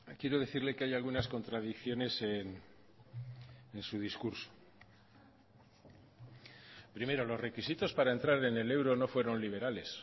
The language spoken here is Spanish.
quiero decirle que hay algunas contradicciones en su discurso primero los requisitos para entrar en el euro no fueron liberales